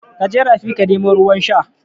Kaje rafi ka nemo ruwan sha